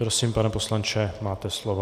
Prosím, pane poslanče, máte slovo.